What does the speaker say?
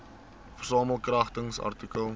versamel kragtens artikel